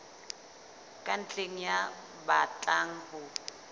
ka ntle ya batlang ho